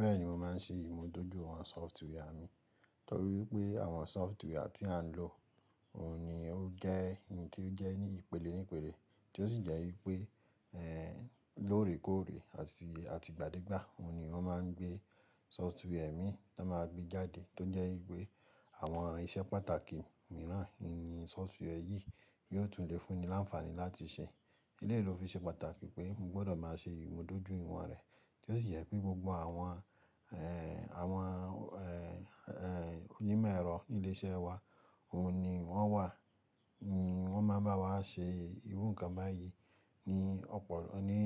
Bẹ́ẹ̀ni, mo máa ń ṣe ìmúdójúìwọ̀n sọftíwà mi torí pé àwọn sọftíwà tí à ń lò òun ni ó jẹ́ ẹni tó jẹ́ ní ìpele nípele, tí ó sì jẹ́ wípé lóòrèkóòrè àti gbádégbà, òun ni wọ́n máa ń gbé sọftíwà mi tí máa gbé jáde, tó jẹ́ wípé àwọn iṣẹ́ pàtàkì mìíràn níi sọftíwà yìí yóò tún lè fún ni láǹfààní láti ṣe. Eléyìí ló fi ṣe pàtàkì pé mo gbọ́dọ̀ máa ṣe ìmúdójúìwọ̀n rẹ̀, tí ó sì jẹ́ pé gbogbo àwọn oni mẹ́rọ̀ ní ilé-iṣẹ́ wa, òun ni wọ́n wà, wọ́n máa ń bá wa ṣe irú nǹkan báyìí ní ọ̀pọ̀ ọ, ní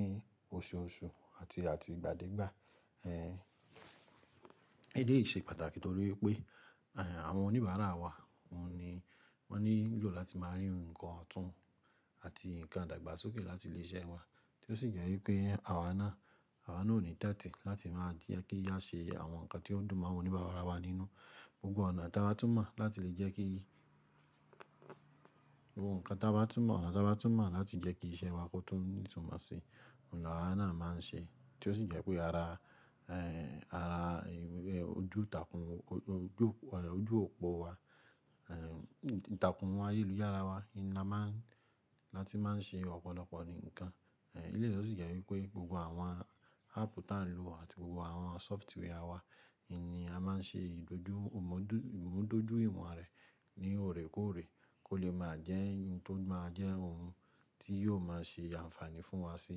oṣooṣù àti gbádégbà. Eléyìí ṣe pàtàkì toriwí pé àwọn oníbàárà wa, ọ́un ni wọ́n ní lò láti máa rí nǹkan ọ̀tún àti nǹkan idàgbàsókè láti ilé iṣẹ́ wa, tí ó sì jẹ́ wípé àwa náà ni tàtì láti máa jẹ́ kí á ṣe àwọn nǹkan tí ó dùn mọ́ àwọn oníbàárà wa nínú. Gbogbo ọ̀nà tá ba tun mo lati le jeki bá tún mọ̀ láti lè jẹ́ kí iṣẹ́ wá kó tún ní ìtumọ̀ sí, òun ni àwa náà máa ń ṣe, tí ó sì jẹ́ pé ara ojú òpó wa, ìtàkùn, ayéluyára wa ni a máa ń ṣe ọ̀pọ̀lọpọ̀ nǹkan. Eléyìí ló sì jẹ́ wípé gbogbo àwọn áàpù tí à ń lò àti gbogbo àwọn sọftíwà wa ni a máa ń ṣe ìmúdójúìwọ̀n rẹ̀ ní òrèkóòrè kó lè máa jẹ́ ohun tó máa jẹ́ ohun tí yóò máa ṣe àǹfààní fún wa sí,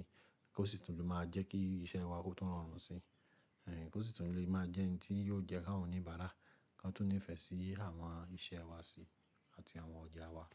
kó sì tún lè máa jẹ́ kí iṣẹ́ wá kó tún rọrùn sí, kó sì tún lè máa jẹ́ ẹni tí yóò jẹ́ kí àwọn oníbàárà kan tún nífẹ̀ẹ́ sí àwọn iṣẹ́ wá sí àti àwọn ọjà wá.